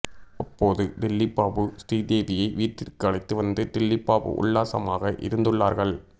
அப்போது டில்லிபாபு ஸ்ரீதேவியை வீட்டிற்கு அழைத்து வந்து டில்லிபாபு உல்லாசமாக இருந்துள்ளார்கள்